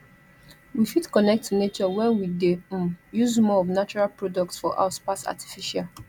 we fit connect to nature when we de um use more of natural products for house pass artificial